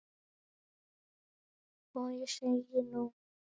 Og ég segi, nú?